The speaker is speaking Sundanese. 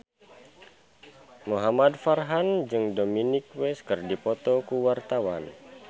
Muhamad Farhan jeung Dominic West keur dipoto ku wartawan